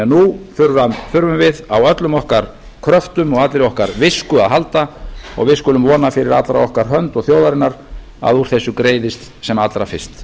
nú þurfum við á öllum okkar kröftum og allri okkar visku að halda og við skulum vona fyrir allra okkar hönd og þjóðarinnar að úr þessu greiðist sem allra fyrst